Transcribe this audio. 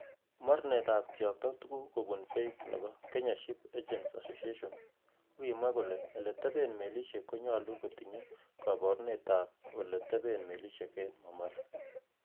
Mornetab kiyokto tuguk kubun beek nebo 'Kenya Ships Agents Association 'Kokimwa kole' Ele teben melisiek konyolu kotinye koborunetab ele teben melisiek en Mombassa.